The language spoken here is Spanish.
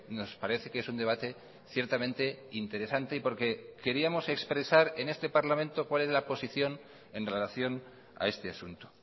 nos parece que es un debate ciertamente interesante y porque queríamos expresar en este parlamento cuál es la posición en relación a este asunto